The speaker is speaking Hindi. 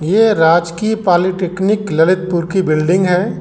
ये राजकीय पॉलिटेक्निक ललितपुर की बिल्डिंग है।